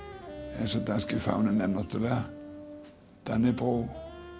orðan eins og danski fáninn er náttúrulega Dannebrog og